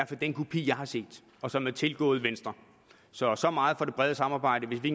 på den kopi jeg har set og som er tilgået venstre så så meget for det brede samarbejde hvis vi